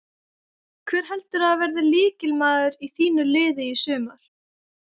Hver heldurðu að verði lykilmaður í þínu liði í sumar?